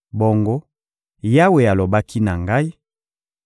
Bongo Yawe alobaki na ngai: